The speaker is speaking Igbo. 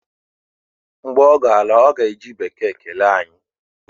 Mgbe ọ ga-ala, ọ ga-eji bekee kelee anyị